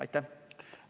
Aitäh!